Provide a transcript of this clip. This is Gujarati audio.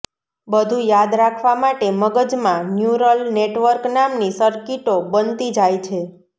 બધું યાદ રાખવા માટે મગજમાં ન્યૂરલ નેટવર્ક નામની સર્કિટો બનતી જાય છે